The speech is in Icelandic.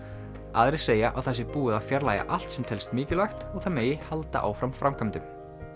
aðrir segja að það sé búið að fjarlægja allt sem telst mikilvægt og það megi halda áfram framkvæmdunum